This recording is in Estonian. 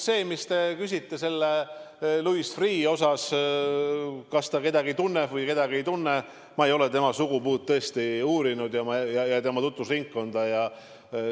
See, mis te küsisite Louis Freeh' kohta – kas ta kedagi tunneb või kedagi ei tunne –, no ma ei ole tema sugupuud ja tema tutvusringkonda uurinud.